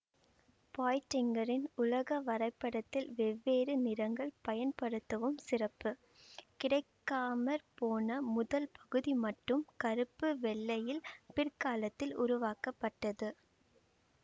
பாய்ட்டிங்கரின் உலக வரைபடத்தில் வெவ்வேறு நிறங்கள் பயன்படுத்துவம் சிறப்பு கிடைக்காமற்போன முதல் பகுதி மட்டும் கருப்பு வெள்ளையில் பிற்காலத்தில் உருவாக்கப்பட்டது